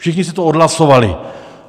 Všichni si to odhlasovali.